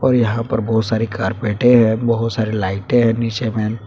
और यहां पर बहुत सारी कारपेटें है बहोत सारे लाइटें हैं नीचे में।